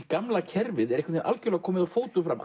gamla kerfið er einhvern algjörlega komið að fótum fram